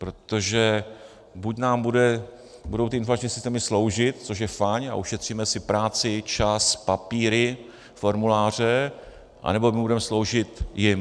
Protože buď nám budou ty informační systémy sloužit, což je fajn a ušetříme si práci, čas, papíry, formuláře, anebo my budeme sloužit jim.